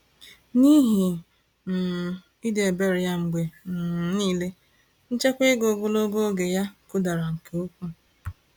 N’ihi um ịdị ebere ya mgbe um niile, nchekwa ego ogologo oge ya kụdara nke ukwuu.